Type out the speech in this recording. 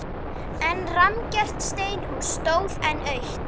En rammgert steinhús stóð enn autt.